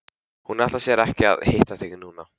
Hún ætlar sér ekki að hitta þig núna.